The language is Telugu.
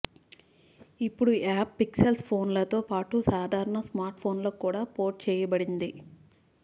ఇప్పుడు ఈ యాప్ పిక్సెల్ ఫోన్ లతో పాటుగా సాధారణ స్మార్ట్ఫోన్లకు కూడా పోర్ట్ చేయబడింది